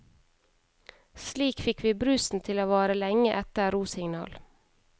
Slik fikk vi brusen til å vare lenge etter rosignal.